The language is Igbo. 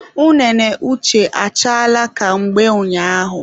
Unene Uche achaala ka mgbe ụnyaahụ